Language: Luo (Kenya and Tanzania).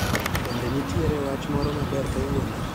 Bende nitiere wach moro maber kawuono